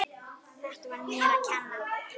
Þetta var mér að kenna.